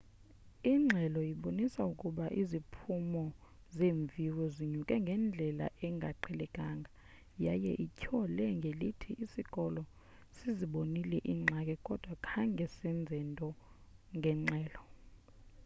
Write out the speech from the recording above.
ingxelo ibonise ukuba iziphumo zeemviwo zinyuke ngendlela engaqhelekanga yaye ityhole ngelithi isikolo sizibonile iingxaki kodwa khange senze nto ngengxelo